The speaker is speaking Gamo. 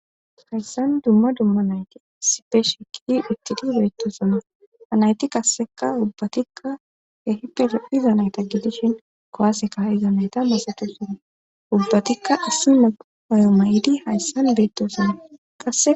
hayssan dumma dumma nayte sipe shekki ittidi beettoosana anayti kasseka ubbatikka hehipere iza nayta gidishin kowaaseka iza nayta masatosana ubbatikka assuma ayo may7idi hayssan beettosana qasse